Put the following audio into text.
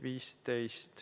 15.